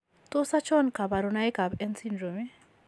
Tos achon kabarunaik ab N syndrome ?